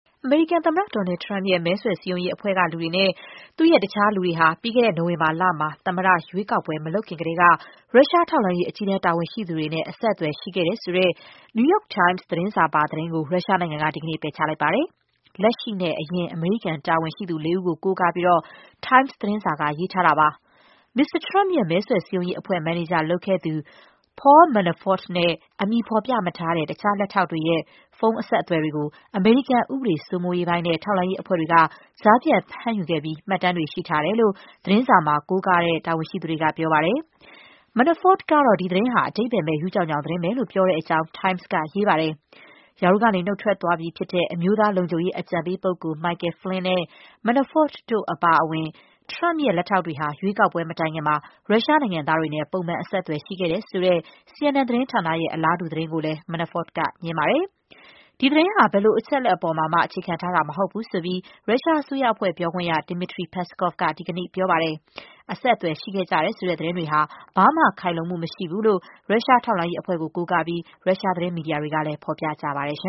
အမေရိကန်သမ္မတ Donald Trump ရဲ့ မဲဆွယ်စည်းရုံးရေးအဖွဲ့ကလူတွေနဲ့ သူ့ရဲ့တခြားလူတွေဟာ ပြီးခဲ့တဲ့နိုဝင်ဘာလမှာ သမ္မတရွေးကောက်ပွဲ မလုပ်ခင်ကတည်းက ရုရှားထောက်လှမ်းရေး အကြီးတန်းတာဝန်ရှိသူတွေနဲ့ အဆက်အသွယ် ရှိခဲ့တယ် ဆိုတဲ့ New York Times သတင်းစာပါသတင်းကို ရုရှားနိုင်ငံက ဒီကနေ့ ပယ်ချလိုက်ပါတယ်။ လက်ရှိနဲ့ အရင် အမေရိကန်တာဝန်ရှိသူ လေးဦးကို ကိုးကားပြီး Times သတင်းစာ က ရေးထားတာပါ။ မစ္စတာထရမ့်ပ်ရဲ့ မဲဆွယ် စည်းရုံးရေးအဖွဲ့ မန်နေဂျာလုပ်ခဲ့သူ Paul Manafort နဲ့ အမည်ဖော်ပြမထားတဲ့ တခြား လက်ထောက်တွေရဲ့ ဖုန်းအဆက်အသွယ် တွေကို အမေရိကန် ဥပဒေစိုးမိုးရေးပိုင်း နဲ့ ထောက်လှမ်းရေးအဖွဲ့တွေ က ကြားဖြတ်ဖမ်းယူခဲ့ပြီး မှတ်တမ်းတွေ ရှိထားတယ်လို့ သတင်းစာမှာကိုးကားတဲ့ တာဝန်ရှိသူတွေက ပြောတာပါ။ Manafort ကတော့ ဒီသတင်းဟာ အဓိပ္ပါယ်မဲ့ ရူးကြောင်ကြောင် သတင်းပဲလို့ ပြောတဲ့ အကြောင်း Times ကရေးပါတယ်။ ရာထူးကနေနုတ်ထွက်သွားပြီဖြစ်တဲ့ အမျိုးသားလုံခြုံရေး အကြံပေးပုဂ္ဂိုလ် Michael Flynn နဲ့ Manafort တို့အပါအဝင် ထရမ့်ပ်ရဲ့ လက်ထောက်တွေဟာ ရွေးကောက်ပွဲမတိုင်ခင်မှာ ရုရှားနိုင်ငံသားတွေနဲ့ ပုံမှန်အဆက်အသွယ် ရှိခဲ့တယ်ဆိုတဲ့ CNN သတင်းဌာန ရဲ့ အလားတူသတင်းကိုလဲ Manafort က ငြင်းပါတယ်။ ဒီသတင်းဟာ ဘယ်လိုအချက်အလက်ပေါ်မှာမှ အခြေခံထားတာမဟုတ်ဘူးဆိုပြီး ရုရှားအစိုးရအဖွဲ့ပြောခွင့်ရ Dmitry Peskov က ဒီကနေ့ပြောပါတယ်။ အဆက်အသွယ်ရှိခဲ့ကြတယ်ဆိုတဲ့ သတင်းတွေဟာ ဘာမှ ခိုင်လုံမှုမရှိဘူးလို့ ရုရှားထောက်လှမ်းရေးအဖွဲ့ကို ကိုးကားပြီး ရုရှားသတင်းမီဒီယာတွေ ကလည်း ဖော်ပြကြပါတယ်